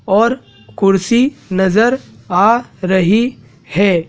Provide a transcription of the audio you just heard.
और कुर्सी नजर आ रही है।